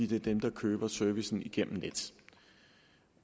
det er dem der køber servicen igennem nets